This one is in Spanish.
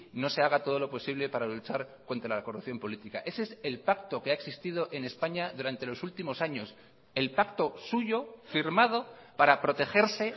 no se haga todo lo posible para luchar contra la corrupción política ese es el pacto que ha existido en españa durante los últimos años el pacto suyo firmado para protegerse